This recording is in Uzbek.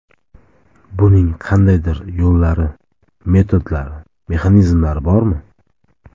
Buning qandaydir yo‘llari, metodlari, mexanizmlari bormi?